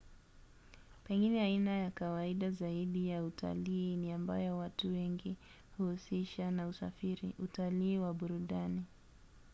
pengine aina ya kawaida zaidi ya utalii ni ambayo watu wengi huhusisha na usafiri: utalii wa burudani